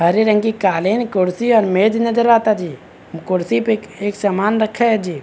हरे रंग की कालीन कुर्सी और मेज नजर आता जी कुर्सी पे एक समान रखा है जी।